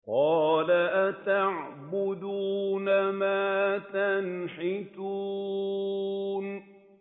قَالَ أَتَعْبُدُونَ مَا تَنْحِتُونَ